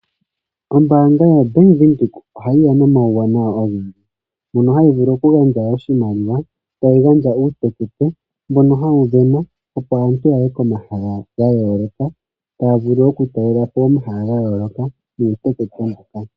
Ombaanga yaWindhoek ohayi ya nomawuwanawa ogendji mono hayi vulu okugandja oshimaliwa, tayi gandja uutekete mbono hawu sindanwa opo aantu yaye komahala gayooloka taya, vulu okutalela po omahala gayooloka nuutekete mboka.